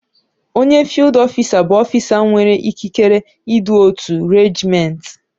Onye fiild ọfisa bụ ọfisa nwere ikikere idu otu reejiment.